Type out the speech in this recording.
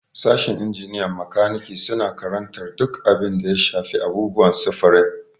Sashin injiniyan makaniki suna karantar duk abin da ya shafi abubuwan sufurin.